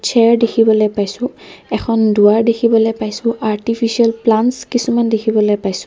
Chair দেখিবলৈ পাইছোঁ এখন দুৱাৰ দেখিবলৈ পাইছোঁ আৰ্তিফিছিয়েল প্লানটছ কিছুমান দেখিবলৈ পাইছোঁ।